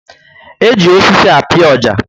Eji osisi api oja